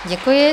Děkuji.